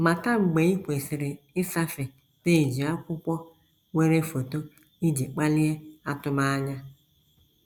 Mata mgbe i kwesịrị ịsafe peeji akwụkwọ nwere foto iji kpalie atụmanya.